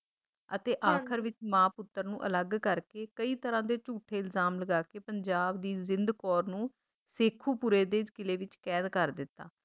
ਅਤੇ ਆਖਿਰ ਵਿੱਚ ਮਾਂ ਪੁੱਤਰ ਨੂੰ ਅਲੱਗ ਕਰਕੇ ਕਈ ਤਰਾਂ ਦੇ ਝੂਠੇ ਇਲਜਾਮ ਲਗਾ ਕੇ ਪੰਜਾਬ ਦੀ ਜਿੰਦ ਕੌਰ ਨੂੰ ਸ਼ੇਖੁਪੁਰੇ ਦੇ ਕਿਲ੍ਹੇ ਵਿੱਚ ਕੈਦ ਕਰ ਦਿੱਤਾ